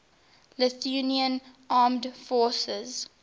lithuanian armed forces